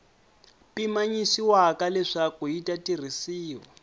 pimanyisiwaka leswaku yi ta tirhisiwa